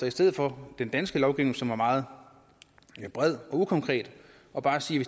i stedet for den danske lovgivning som er meget bred og ukonkret og bare siger at